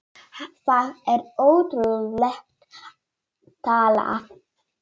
Það er ótrúleg tala.